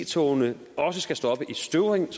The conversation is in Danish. togene også skal stoppe i støvring